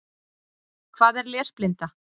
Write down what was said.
Hvað er lesblinda?